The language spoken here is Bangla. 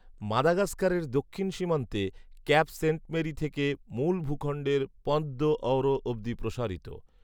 মাদাগাস্কারের দক্ষিণ সীমান্তে ক্যাপ সেন্ট মেরি থেকে মূল ভূখন্ডের পন্ত দো অঊরো অবধি প্রসারিত